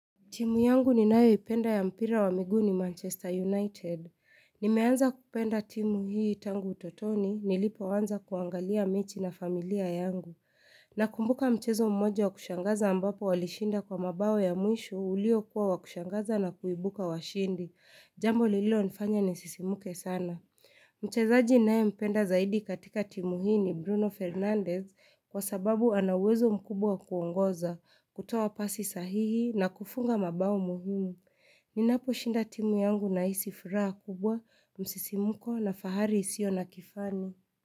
Timu yangu ninayo ipenda ya mpira wa miguu ni Manchester United. Nimeanza kupenda timu hii tangu utotoni, nilipoanza kuangalia mechi na familia yangu. Nakumbuka mchezo mmoja wa kushangaza ambapo walishinda kwa mabao ya mwisho ulio kuwa wa kushangaza na kuibuka washindi. Jambo lilonifanya nisisimke sana. Mchezaji ninayempenda zaidi katika timu hii ni Bruno Fernandez kwa sababu ana uwezo mkubwa kuongoza, kutoa pasi sahihi na kufunga mabao muhumu. Inapo shinda timu yangu nahisi furaha kubwa, msisimuko na fahari isio na kifani.